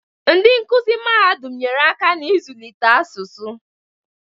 Ndị nkuzi mahadum nyere aka n'ịzụlite asụsụ